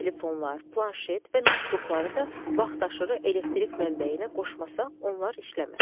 Mobil telefonlar, planşet və noutbukları da vaxtaşırı elektrik mənbəyinə qoşmasaq onlar işləməz.